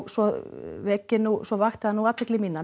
svo svo vakti það nú athygli mína